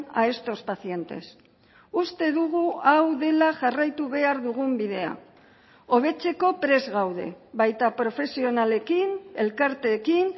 a estos pacientes uste dugu hau dela jarraitu behar dugun bidea hobetzeko prest gaude baita profesionalekin elkarteekin